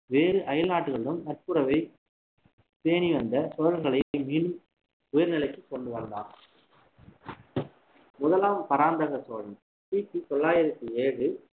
வேறு அயல்நாடுகளுடன் நட்புறவை பேணி வந்த சோழர்களை உயர்நிலைக்கு கொண்டு வந்தான் முதலாம் பராந்தக சோழன் கிபி தொள்ளாயிரத்தி ஏழு